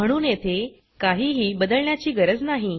म्हणून येथे काहीही बदलण्याची गरज नाही